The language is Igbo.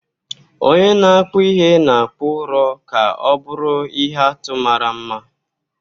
Onye na-akpụ ihe na-akpụ ụrọ ka ọ bụrụ ihe atụ mara mma.